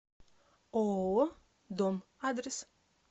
ооо дом адрес